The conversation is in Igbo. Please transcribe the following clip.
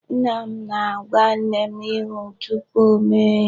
Nna m na-agwa nne m ihe tupu ọ mee ya.